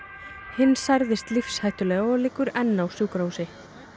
hinn særðist lífshættulega og liggur enn á sjúkrahúsi